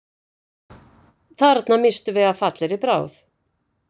Þarna misstum við af fallegri bráð